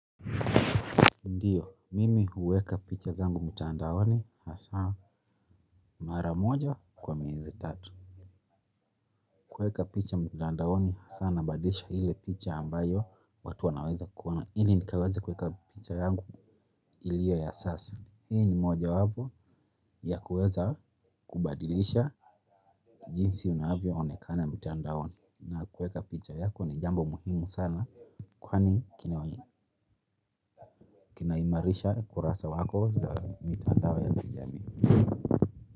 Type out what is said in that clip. Ndiyo, mimi huweka picha zangu mtandaoni hasa mara moja kwa miezi tatu. Kuweka picha mtandaoni hasa nabadilisha ile picha ambayo watu wanaweza kuona ili nikaweze kuweka picha yangu iliyo ya sasa. Hii ni mojawapo ya kuweza kubadilisha jinsi unavyoonekana mtandaoni. Na kuweka picha yako ni jambo muhimu sana kwani kinaimarisha kurasa wako za mitandao ya kijamii.